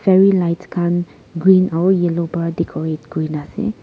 fairy lights khan green aro yellow pa decorate kurina ase.